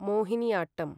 Mohiniyattam